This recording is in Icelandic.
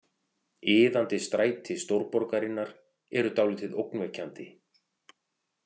Iðandi stræti stórborgarinnar eru dálítið ógnvekjandi.